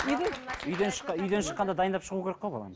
үйден үйден шыққанда дайындап шығу керек баланы